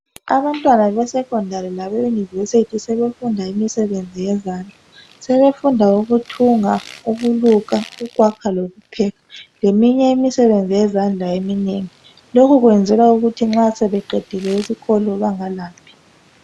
Abantwana be secondary labe university sebefunda imisebenzi yezandla sebefunda ukuthunga ukuluka ukwakha lokupheka leminye imisebenzi yezandla eminengi lokhu kwenzelwa ukuthi nxa sebeqedile esikolo bengalambi.